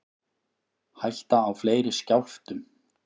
Hætta á fleiri skjálftum